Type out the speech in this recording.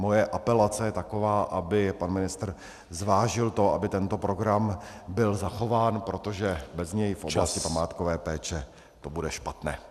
Moje apelace je taková, aby pan ministr zvážil to, aby tento program byl zachován, protože bez něj v oblasti památkové péče to bude špatné.